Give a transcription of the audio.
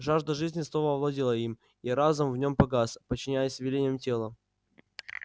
жажда жизни снова овладела им и разум в нём погас подчиняясь велениям тела